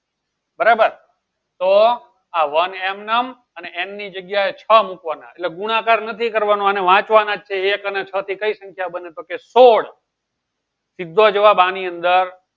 બરાબર તો આ one m અને m ની જગ્યાએ છ મુકવાના એટલે ગુણાકાર નથી કરવાનો અને વાંચવાના છે એક અને છ થી કઈ સંખ્યા બને તો કે સો સીધો જવાબ આની અંદર